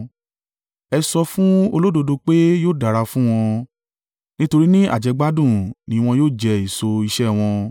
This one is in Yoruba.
Ẹ sọ fún olódodo pé yóò dára fún wọn, nítorí ní àjẹgbádùn ni wọn yóò jẹ èso iṣẹ́ ẹ wọn.